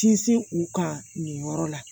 Sinsin u kan nin yɔrɔ la